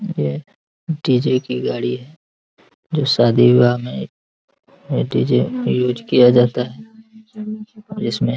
ये डी.जे. की गाड़ी है जो शादी विवाह में डी.जे. यूज किया जाता है | जिसमें --